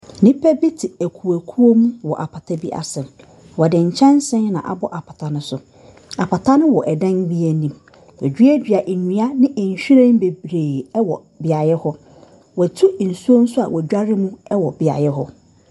Nnipa bi te akuokuo mu wɔ apata bi ase. Wɔde nyɛnse na abɔ apata no so. Apata no wɔ dan bi anim. Wɔaduadua nnua ne nhwiren bebree wɔ beaeɛ hɔ. Wɔatu nsuo nso a wɔdware mu wɔ beaeɛ hɔ.